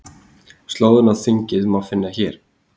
Slóðina á þingið má finna hér